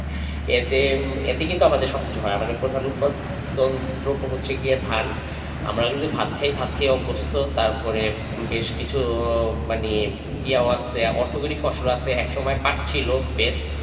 এতে এতে কিন্তু আমাদের সবকিছু হয়। আমাদের প্রধান উৎপদম দ্রব্য হচ্ছে গিয়ে ধান আমরা কিন্তু ভাত খাই ভাত খেয়ে অভ্যস্ত তারপর বেশ কিছু মানে ইয়ে ইয়া আছে অর্থকরী ফসল আছে একসময় পার্ট ছিল best.